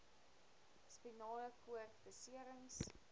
spinale koord beserings